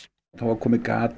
það er komið gat